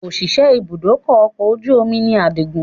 Òṣìṣẹ́ ibùdókọ̀ ọkọ̀ ojú omi ni àdìgún